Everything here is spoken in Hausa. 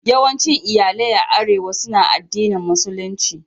Yawancin iyalai a Arewa suna addinin Musulunci.